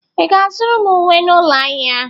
Ị ga-azụtara m uwe n'ụlọ ahịa?